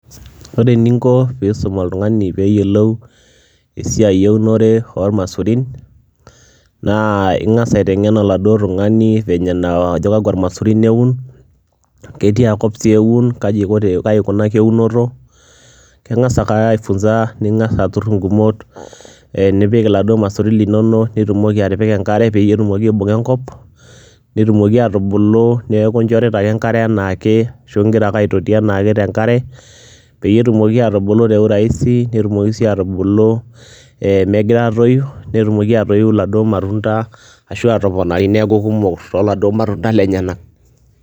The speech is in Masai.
Ore eninko piisum oltung'ani peeyolou esiai eunore ormaisurin naa ing'asa aiteng'en oladuo tung'ani venye naa kakwa maisurin eun, ketia kop sii eun, kaji iko te kai ikunaki eunoto. King'asa ake aifunza ning'asa atur ng'umot ee nipik laduo maisurin linonok, nitumoki atipika enkare peyie etumoki aibung'a enkop, netumoki aatubulu neeku inchorita ake enkare enaake ashu ing'ira ake aitoti enaake te nkare peyie etumoki aatubulu te urahisi, netumoki sii aatubulu ee megira aatoyu, netumoki aatoyu laduo matunda ashu aatoponari neeku kumok too laduo matunda lenyenak.